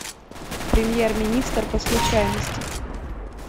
премьер министр по случайности